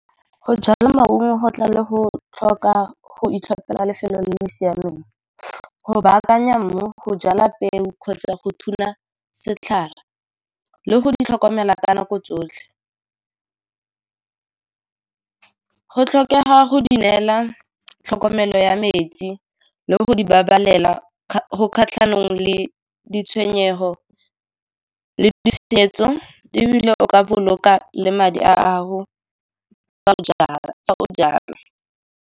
Go jala maungo go tla le go tlhoka go itlhophela lefelo le le siameng, go baakanya mmu, go jala peo kgotsa go thuma setlhare, le go di tlhokomela ka nako tsotlhe. Go tlhokega go di neela tlhokomelo ya metsi le go di babalela go kgatlhanong le ditshwenyego le [!]. E bile o ka boloka le madi a gago fa o jala.